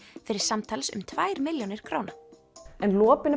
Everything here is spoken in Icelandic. fyrir samtals um tvær milljónir króna lopinn